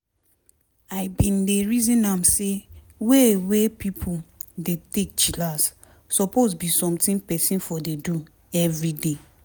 i bin dey reason am say way wey pipo dey take chillax suppose be something peson for dey do everyday.